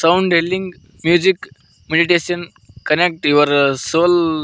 sound healing music meditation connect your soul --